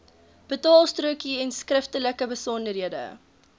betaalstrokie enskriftelike besonderhede